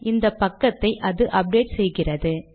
இந்த பக்கத்தை அது அப்டேட் செய்கிறது